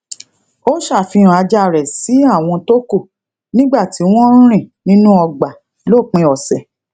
ó safihan ajá rè si awon toku nígbà tí wón ń rìn nínú ọgbà lópin òsè